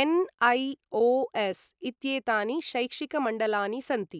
NIOS. इत्येतानि शैक्षिक मण्डलानि सन्ति।